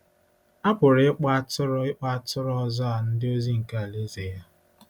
A pụrụ ịkpọ “atụrụ ịkpọ “atụrụ ọzọ” a “ndị ozi” nke Alaeze ya.